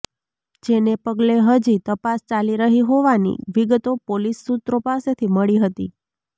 જેને પગલે હજી તપાસ ચાલી રહી હોવાની વિગતો પોલીસ સુત્રો પાસેથી મળી હતી